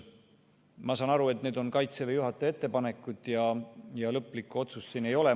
Ma saan aru, et need on Kaitseväe juhataja ettepanekud ja lõplikku otsust siin ei ole.